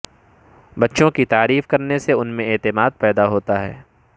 بچوں کی تعریف کرنے سے ان میں اعتماد پیدا ہوتا ہے